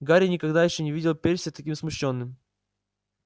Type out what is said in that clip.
гарри никогда ещё не видел перси таким смущённым